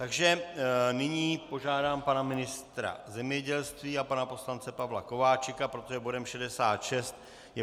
Takže nyní požádám pana ministra zemědělství a pana poslance Pavla Kováčika, protože bodem 66 je